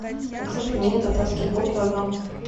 заказать пельмени татарские пол килограмма